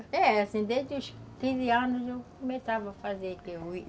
É, assim, desde os quinze anos eu começava a fazer